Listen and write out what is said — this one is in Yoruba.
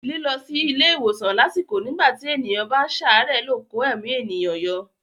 Lílọ sí ilé ìwòsàn lásìkò nígbà tí ènìyàn bá ń ṣàárẹ̀ lè kó ẹ̀mí ènìyàn yọ.